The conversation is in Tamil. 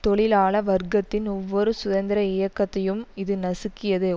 தொழிலாள வர்க்கத்தின் ஒவ்வொரு சுதந்திர இயக்கத்தையும் இது நசுக்கியது